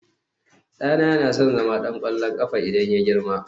ɗana yana son zama ɗan ƙwallon ƙafa idan ya girma